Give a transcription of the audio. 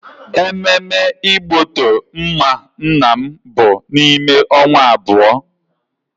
Ememme igboto mma nna m bụ n'ime onwa abuo